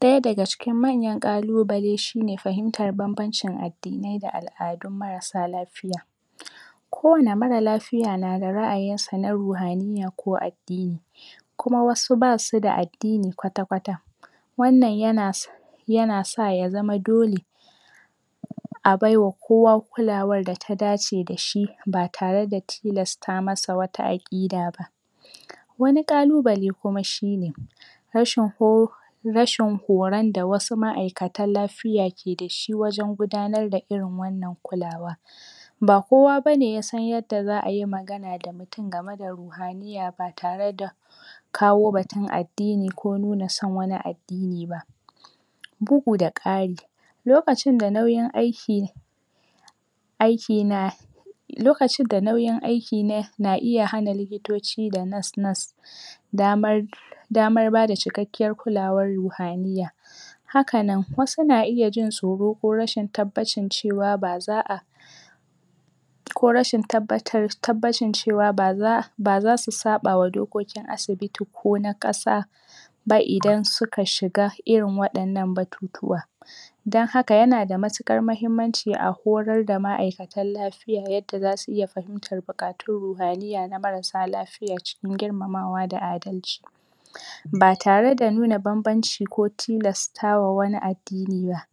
Ɗaya daga cikin manyan ƙalu bale shine fahimtar banbancin addinai da al'adun marasa lafiya ko wani marasa lafiya nada ra'ayin sa na ruhaniyya ko addini kuma wasu ba suda addini kwata kwata wannan yana sa yana sa ya zama dole a baiwa kowa kulawar da ta da ce dashi ba tareda tilasta masa wata aƙida ba wani ƙalu bale kuma shine rashin ho rashin horan da wasu ma'aikatan lafiya keda shi wajan gudanar da irin wannan kulawa ba kowa bane yasan yadda za'ayi magana da mutin gama da ruhaniyya ba tara da kawo batun addini ko nuna san wani addini ba bugu da ƙari lokacin da nauyin aiki aiki na lokain da nayin aikina iya hana likitoci da nurse nurse damar damar bada cikakkiyar kulawar ruhaniyya hakanan wasu naiya jin tsoro ko rashin tabbacin cewa ba za'a ko rashin em tabbacin cewa ba z baza su saɓawa dokokin asibiti kona ƙasa ba idan suka shiga irin waɗannan batutuwa dan haka yana da matuƙar mahimmanci a horar da ma'aikatan lafiya yadda zasu iya fahimtar buƙatun ruhaniyya na marasa lafiya cikin girmamawa da adalci ba tarada nuna banbanci ko tilastawa wani addini ba.